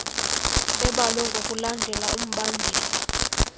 ebalwe ngokulandela umbandela